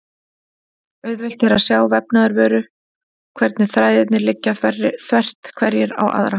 Auðvelt er að sjá í vefnaðarvöru hvernig þræðirnir liggja þvert hverjir á aðra.